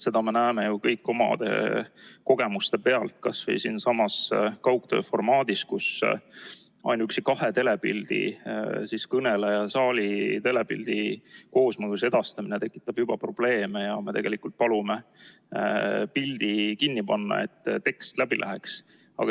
Seda me näeme ju kõik omade kogemuste pealt kas või siinsamas kaugtööformaadis, kus ainuüksi kahe telepildi, kõneleja ja saali telepildi koos edastamine tekitab juba probleeme ja me palume pildi kinni panna, et tekst läbi tuleks.